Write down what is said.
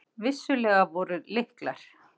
Vissulega voru lyklar.